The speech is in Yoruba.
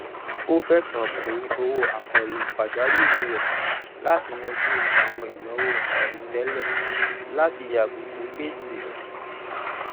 ó fẹsọ pín owó àkànlò pàjáwìrì rẹ láti yanjú àwọn ìnáwó àìròtẹlẹ latí yàgò fún gbèsè